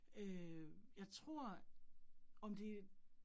Øh jeg tror, om det